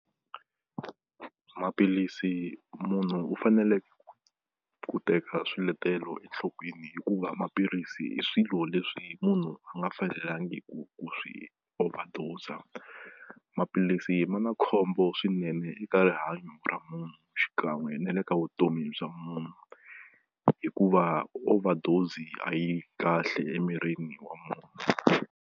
Maphilisi munhu u fanele ku teka swiletelo enhlokweni hikuva maphilisi i swilo leswi munhu a nga fanelangiku ku swi overdoser maphilisi ma na khombo swinene eka rihanyo ra munhu xikan'we ne le ka vutomi bya munhu hikuva overdose a yi kahle emirini wa munhu.